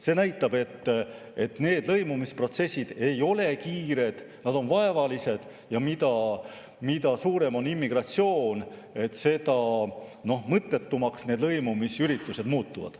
See näitab, et lõimumisprotsessid ei ole kiired, need on vaevalised ja mida suurem on immigratsioon, seda mõttetumaks need lõimumisüritused muutuvad.